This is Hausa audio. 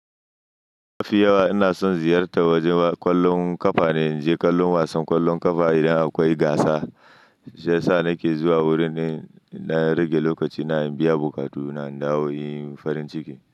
Mafi yawa ina son ziyarta wajen ƙwallon ƙafane. In je kallon wasan ƙwallon ƙafa idan akwai gasa, shiya sa nake zuwa wurin in ɗan rage lokaci na, in biya buƙatu na, in dawo in yi farin ciki.